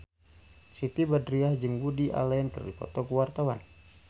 Siti Badriah jeung Woody Allen keur dipoto ku wartawan